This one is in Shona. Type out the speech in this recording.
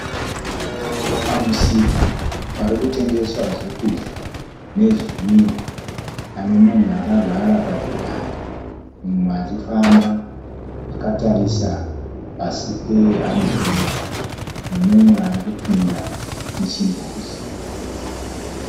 Pamusika pari kutengeswa zvokudya nezvinwiwa pane munhu akagara pachigaro mumwe achifamba akatarisa pasi pehambhurera nemumwe ari kupinda muchimbuzi.